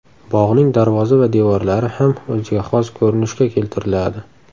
Bog‘ning darvoza va devorlari ham o‘ziga xos ko‘rinishga keltiriladi.